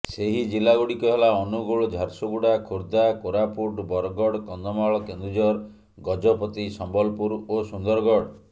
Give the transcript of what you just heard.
ସେହି ଜିଲ୍ଲାଗୁଡ଼ିକ ହେଲା ଅନୁଗୁଳ ଝାରସୁଗୁଡ଼ା ଖୋର୍ଦ୍ଧା କୋରାପୁଟ ବରଗଡ଼ କନ୍ଧମାଳ କେନ୍ଦୁଝର ଗଜପତି ସମ୍ବଲପୁର ଓ ସୁନ୍ଦରଗଡ଼